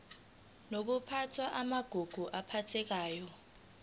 nokuphathwa kwamagugu aphathekayo